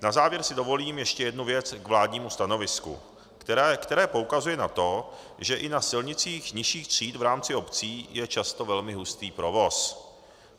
Na závěr si dovolím ještě jednu věc k vládnímu stanovisku, které poukazuje na to, že i na silnicích nižších tříd v rámci obcí je často velmi hustý provoz.